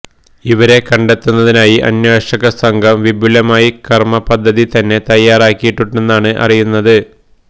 ഇവരെ കണ്ടെത്തുന്നതിനായി അന്വേഷക സംഘം വിപുലമായ കർമ്മപദ്ധതി തന്നെ തയ്യാറാക്കിയിട്ടുണ്ടെന്നാണ് അറിയുന്നത്